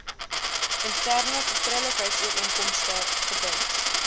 interne vertroulikheidsooreenkomste gebind